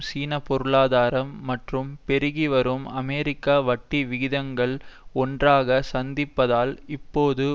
சீனப்பொருளாதாரம் மற்றும் பெருகிவரும் அமெரிக்க வட்டி விகிதங்கள் ஒன்றாக சந்திப்பதால் இப்போது